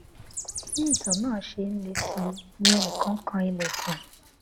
bí itan náà ṣe ń le sí i ni ẹnì kan kan ilèkùn